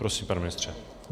Prosím, pane ministře.